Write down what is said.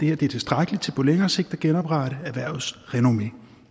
er tilstrækkeligt til på længere sigt at genoprette erhvervets renommé